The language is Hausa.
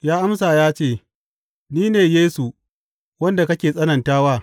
Ya amsa ya ce, Ni ne Yesu wanda kake tsananta wa.